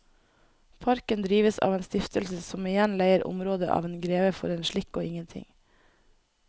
Parken drives av en stiftelse som igjen leier området av en greve for en slikk og ingenting.